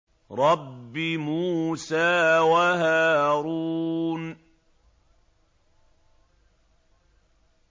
رَبِّ مُوسَىٰ وَهَارُونَ